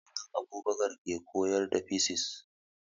Mallam Abubakar ke koyar da fisis